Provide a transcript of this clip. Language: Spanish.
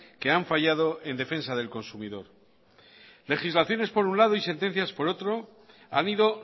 que han fallado en defensa del consumidor legislaciones por un lado y sentencias por otro han ido